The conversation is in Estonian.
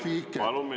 Hea küsija, teie aeg!